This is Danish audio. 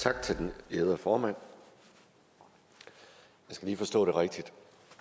tak til den ærede formand jeg skal lige forstå det rigtigt